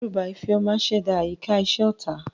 Ìdẹ́rùbà Ifeoma ṣẹ̀dá àyíká iṣẹ́ ọ̀tá.